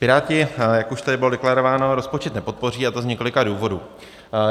Piráti, jak už tady bylo deklarováno, rozpočet nepodpoří, a to z několika důvodů.